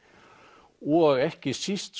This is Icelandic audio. og ekki síst